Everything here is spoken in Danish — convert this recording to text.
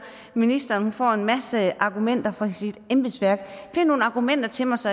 ministeren får en masse argumenter fra sit embedsværk find nogle argumenter til mig så